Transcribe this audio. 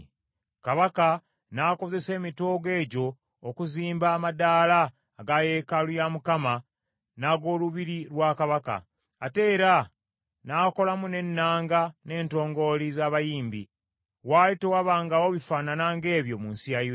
Kabaka n’akozesa emitoogo egyo okuzimba amaddaala aga yeekaalu ya Mukama n’ag’olubiri lwa kabaka, ate era n’akolamu n’ennanga n’entongooli z’abayimbi. Waali tewabangawo bifaanana ng’ebyo mu nsi ya Yuda.